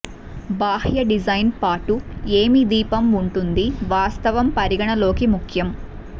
బాహ్య డిజైన్ పాటు ఏమి దీపం ఉంటుంది వాస్తవం పరిగణలోకి ముఖ్యం